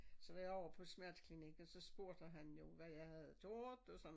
Så når jeg over på smerteklinikken så spurgte han jo hvad jeg havde gjort og sådan